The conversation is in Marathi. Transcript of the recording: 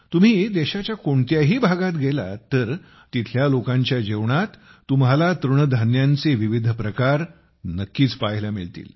तुम्ही देशाच्या कोणत्याही भागात गेलात तर तिथल्या लोकांच्याजेवणात तुम्हाला तृणधान्यांचे विविध प्रकार नक्कीच पाहायला मिळतील